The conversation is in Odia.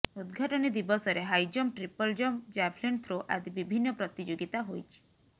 ଉଦଘାଟନୀ ଦିବସରେ high jump triple jump javelin throw ଆଦି ବିଭିନ୍ନ ପ୍ରତିଯୋଗିତା ହୋଇଛି